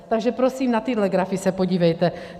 Takže prosím, na tyhle grafy se podívejte.